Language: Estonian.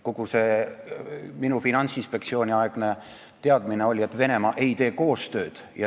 Kogu minu Finantsinspektsiooni-aegne teadmine oli, et Venemaa ei teinud koostööd.